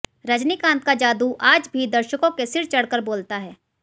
रजनीकांत का जादू आज भी दर्शकों के सिर चढ़कर बोलता है